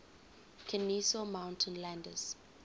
kenesaw mountain landis